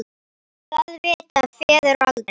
Það vita feður aldrei.